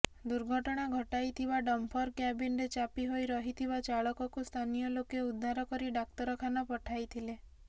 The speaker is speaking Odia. ଦୁର୍ଘଟଣା ଘଟାଇଥିବା ଡମ୍ଫର କ୍ୟାବିନରେ ଚାପି ହୋଇ ରହିଥିବା ଚାଳକକୁ ସ୍ଥାନୀୟ ଲୋକେ ଉଦ୍ଧାର କରି ଡାକ୍ତରଖାନା ପଠାଇଥିଲେ